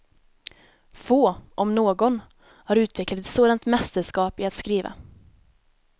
Få, om någon, har utvecklat ett sådant mästerskap i att skriva.